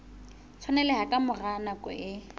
tshwaneleha ka mora nako e